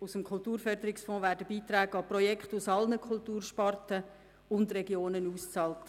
Aus dem Kulturförderungsfonds werden Beiträge an Projekte aus allen Kultursparten und Regionen ausbezahlt.